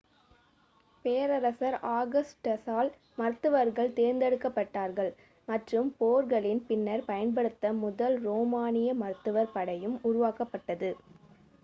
பேரரசர் ஆகஸ்டசால் மருத்துவர்கள் தேர்ந்தெடுக்கப்பட்டார்கள் மற்றும் போர்களின் பின்னர் பயன்படுத்த முதல் ரோமானிய மருத்துவர் படையும் உருவாக்கப்பட்டது